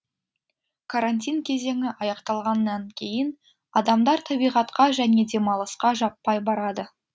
карантин кезеңі аяқталғаннан кейін адамдар табиғатқа және демалысқа жаппай барады